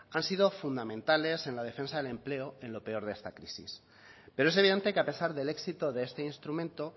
han sido fundamentales en la defensa del empleo en lo peor de esta crisis pero es evidente que a pesar del éxito de este instrumento